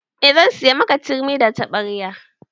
Eh zan siya miki turmi da taɓarya